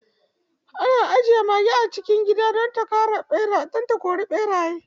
Ana ajiye mage a cikin gida don ta kori ɓeraye.